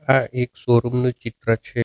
આ એક શોરુમ નું ચિત્ર છે.